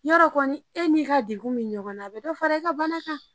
Yɔrɔ kɔni e n'i ka degun bɛ ɲɔgɔn na, a bɛ dɔ fara e ka bana kan!